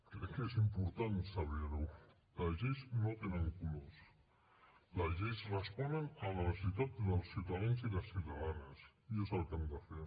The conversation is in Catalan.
crec que és important saber ho les lleis no tenen colors les lleis responen a la necessitat dels ciutadans i les ciutadanes i és el que hem de fer